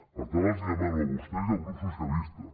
per tant els hi demano a vostès i al grup socialistes